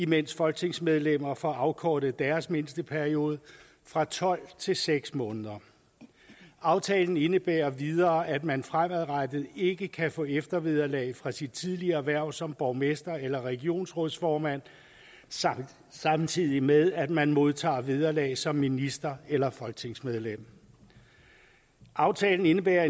mens folketingsmedlemmer får afkortet deres mindsteperiode fra tolv til seks måneder aftalen indebærer endvidere at man fremadrettet ikke kan få eftervederlag fra sit tidligere hverv som borgmester eller regionsrådsformand samtidig med at man modtager vederlag som minister eller folketingsmedlem aftalen indebærer